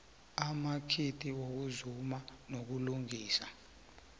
amakhiti wokuzuma nokulungisa